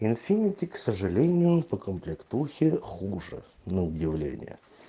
инфинити к сожалению по комплектухе хуже на удивление